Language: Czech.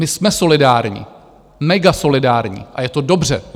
My jsme solidární, megasolidární a je to dobře.